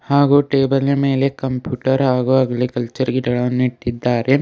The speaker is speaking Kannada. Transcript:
ಹಾಗೂ ಟೇಬಲೀನ ಮೇಲೆ ಕಂಪ್ಯೂಟರ್ ಅಗ್ರಿಕಲ್ಚರ್ ಗಿಡಗಳನ್ನು ಇಟ್ಟಿದ್ದಾರೆ.